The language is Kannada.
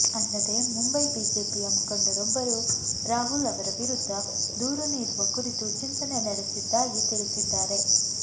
ಅಲ್ಲದೇ ಮುಂಬೈ ಬಿಜೆಪಿಯ ಮುಖಂಡರೊಬ್ಬರು ರಾಹುಲ್ ಅವರ ವಿರುದ್ಧ ದೂರು ನೀಡುವ ಕುರಿತು ಚಿಂತನೆ ನಡೆಸಿದ್ದಾಗಿ ತಿಳಿಸಿದ್ದಾರೆ